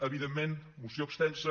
evidentment moció extensa